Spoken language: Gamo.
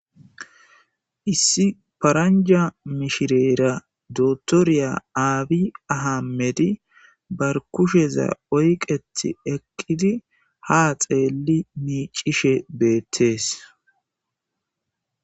issi paranja mishireera dotorya aabi ahammedi bar kusheza oyqeti eqqidi ha xeelli miicishe beettees